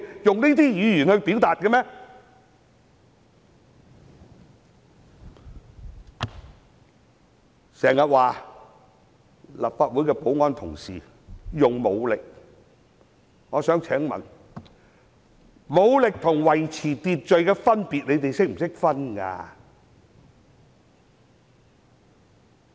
有人經常說立法會的保安同事使用武力，但我想問他們懂得區分武力與維持秩序的分別嗎？